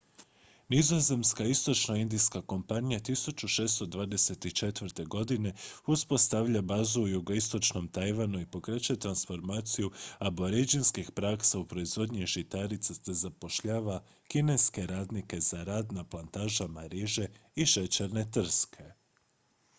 nizozemska istočnoindijska kompanija 1624. godine uspostavlja bazu u jugoistočnom tajvanu i pokreće transformaciju aboridžinskih praksa u proizvodnji žitarica te zapošljava kineske radnike za rad na plantažama riže i šećerne trske